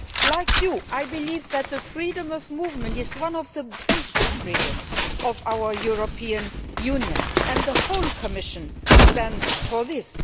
Like you, I believe that freedom of movement is one of the basic freedoms of our European Union. The whole Commission supports this.